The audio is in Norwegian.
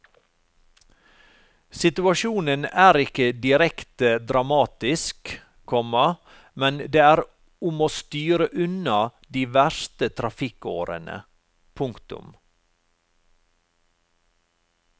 Situasjonen er ikke direkte dramatisk, komma men det er om å styre unna de verste trafikkårene. punktum